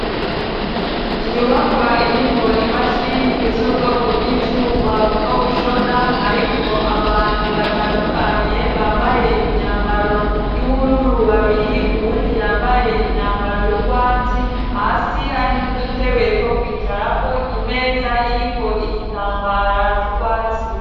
inyubakwa irimwo imashini z'ubwoko bw'ivyuma bwo gushona harimwo abantu batandukanye bambaye imyambaro y'ubururu babiri uwundi yambaye imyambaro y'ugwatsi hasi hari n'udutebe twokwicarako imeza iriko igitambara c'ugwatsi